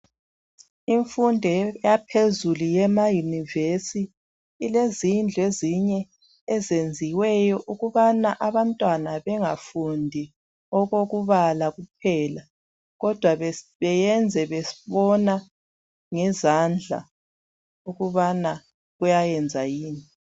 Imfundo yaphezulu yemeyunivesi, ilezindlu ezinye ezenziweyo ukubana abantwana bengafundi okokubala kuphela kodwa befunde bebona ngamehlo ukubana kuyayenza yini.